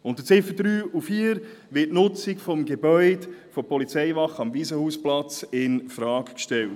Unter den Ziffern 3 und 4 wird die Nutzung des Gebäudes der Polizeiwache am Waisenhausplatz infrage gestellt.